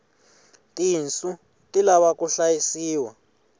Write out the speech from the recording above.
tinsu ti lava ku hlayisiwa